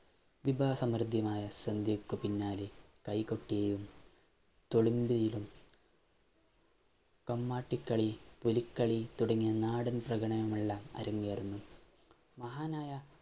വിഭവ സമൃദ്ധമായ സദ്യക്ക് പിന്നാലെ കൈകൊട്ടുകയും കമ്മാട്ടിക്കളി, പുലിക്കളി തുടങ്ങിയ നാടൻ പ്രകടനമുള്ള അരങ്ങേറുന്നു. മഹാനായ